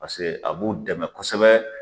Paseke a b'u dɛmɛ kosɛbɛ.